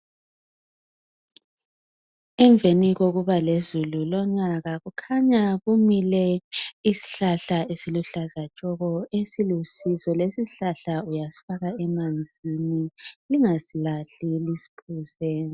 Emveni kokuba lezulu lonyaka kukhanya kumile isihlahla isiluhlaza tshoko esilusizo, lesi sihlahla uyasifaka emanzini lingasilahli lisiphuze.